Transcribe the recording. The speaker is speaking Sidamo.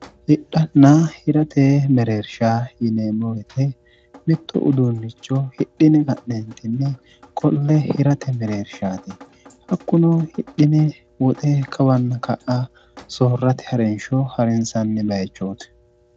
hidhanna hirate mereersha yinee mowete mitto uduunlicho hidhine ganeentinni qolle hirate mereershaati hakkuno hidhine woxe kawanna ka'a soorrati ha'rinshoo ha'rinsanni bayichooti